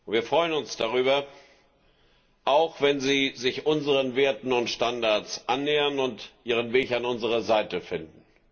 Wir freuen uns auch darüber, wenn sie sich unseren Werten und Standards annähern und ihren Weg an unserer Seite finden.